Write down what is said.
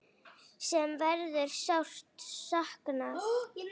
Sem verður sárt saknað.